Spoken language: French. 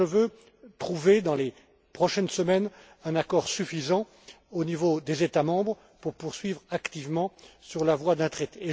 Donc, je veux trouver, dans les prochaines semaines, un accord suffisant au niveau des États membres pour poursuivre activement sur la voie d'un traité.